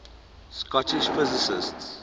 scottish physicists